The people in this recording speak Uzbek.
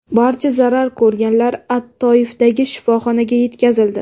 Barcha zarar ko‘rganlar at-Toifdagi shifoxonaga yetkazildi.